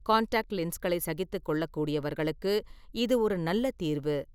Contact லென்ஸ்களை சகித்துக்கொள்ளக்கூடியவர்களுக்கு இது ஒரு நல்ல தீர்வு.